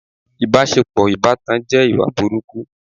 ìbáṣepọ̀ ìbátan jẹ́ ìwà burúkú.